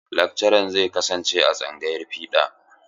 Lakcaran zai kasance a tsangayar fiɗa.